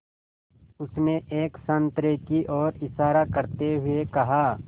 उसने एक संतरे की ओर इशारा करते हुए कहा